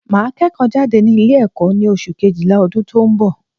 Màá kẹ́ẹ̀kọ́ jáde ní Ilé ẹ̀kó ní oṣù kejìlá ọdún tó n bọ̀